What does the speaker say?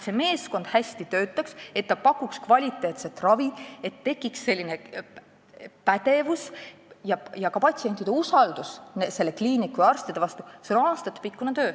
See tähendab aastatepikkust tööd, et see meeskond hästi töötaks ja kvaliteetset ravi pakuks, et tekiks pädevus ning ka patsientide usaldus selle kliiniku ja arstide vastu.